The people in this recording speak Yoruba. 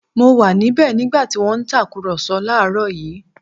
Mo wà níbẹ̀ nígbà tí wọ́n ń tàkùrọ̀sọ láàrọ̀ yìí